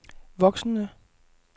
voksende